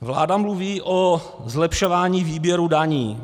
Vláda mluví o zlepšování výběru daní.